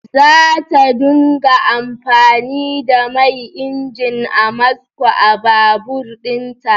Za ta dunga amfani da mai injin Amasco a babur ɗin ta